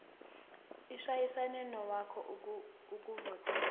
ishayisane nowakho ukuvotela